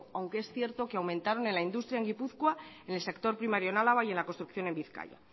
aunque es cierto que aumentaron en la industria en gipuzkoa en el sector primario en álava y en la construcción en bizkaia